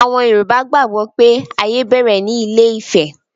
Àwọn Yorùbá gbàgbó pé ayé bẹ̀rẹ̀ ní ilé-ifẹ̀